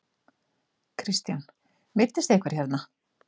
Kristján: Meiddist einhver hérna?